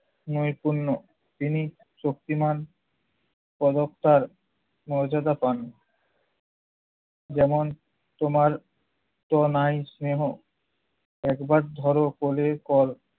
নৈপুণ্য। তিনি শক্তিমান পদক টার মর্যাদা পান। যেমন- তোমার তো নাই স্নেহ একবার ধরো পলের পর